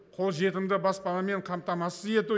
қолжетімді баспанамен қамтамасыз ету